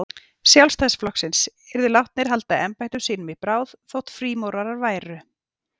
Sjálfstæðisflokksins, yrðu látnir halda embættum sínum í bráð, þótt frímúrarar væru.